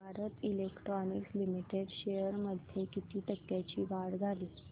Bharat Electronics Limited shares मध्ये किती टक्क्यांची वाढ झाली